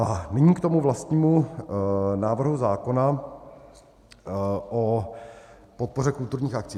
A nyní k tomu vlastnímu návrhu zákona o podpoře kulturních akcí.